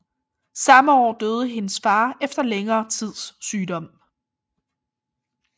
Samme år døde hendes far efter længere tids sygdom